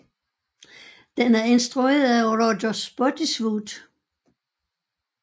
Den er instrueret af Roger Spottiswoode